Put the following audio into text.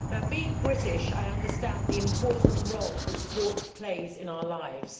Being British, I understand the important role that sport plays in our lives.